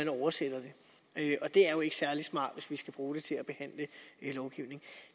oversat og det er jo ikke særlig smart hvis man skal bruge det til at behandle lovgivning